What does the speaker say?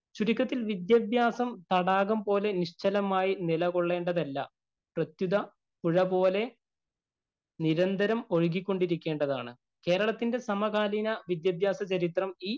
ചുരുക്കത്തില്‍ വിദ്യാഭ്യാസം നിശ്ചലമായി നില കൊള്ളേണ്ടതല്ല. പ്രസ്തുത പുഴ പോലെ നിരന്തരം ഒഴുകികൊണ്ടിരിക്കേണ്ടതാണ്. കേരളത്തിന്‍റെ സമകാലീന വിദ്യാഭ്യാസ ചരിത്രം